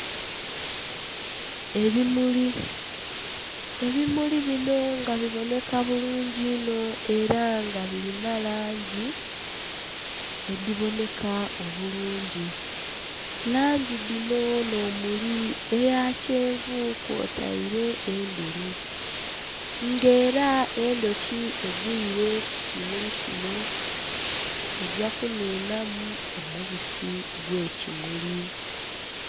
Ebimuli, ebimuli bino nga biboneka bulungi inho nga birina langi edhibooneka obulungi langi dhino n'omuli eya kyenvu kw'otaire n'endheru nga era endhuki egwire kukimuli kino egya kunhunha mu omubisi ogw'ekimuli.